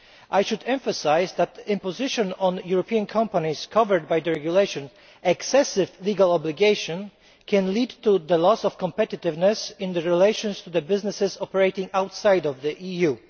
I should emphasise that impositions on European companies covered by the regulation excessive legal obligation can lead to the loss of competitiveness in relation to businesses operating outside of the EU.